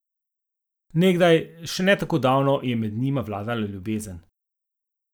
Nekdaj, še ne tako davno, je med njima vladala ljubezen.